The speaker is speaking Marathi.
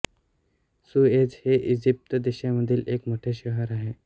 सुएझ हे इजिप्त देशामधील एक मोठे शहर आहे